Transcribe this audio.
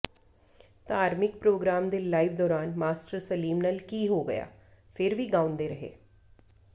ਧਾਰਮਿਕ ਪ੍ਰੋਗਰਾਮ ਦੇ ਲਾਈਵ ਦੌਰਾਨ ਮਾਸਟਰ ਸਲੀਮ ਨਾਲ ਕੀ ਹੋ ਗਿਆ ਫਿਰ ਵੀ ਗਾਉਂਦੇ ਰਹੇ